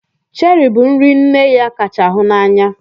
Chéri bụ nri nne ya kacha hụ n'anya.